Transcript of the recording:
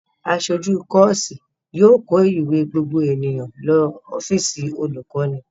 Aṣojú kọ́ọ́sì yóò kó ìwé gbogbo ènìyàn lọ ọ́fíísì olùkọ́ní.